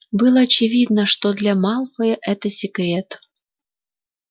было очевидно что для малфоя это секрет